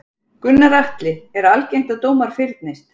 Gunnar Atli: Er algengt að dómar fyrnist?